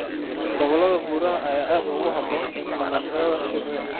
Gobollada buuraha ayaa aad ugu habboon dhaqashada shinnida.